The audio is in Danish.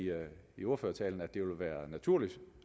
i ordførertalen at det ville være naturligt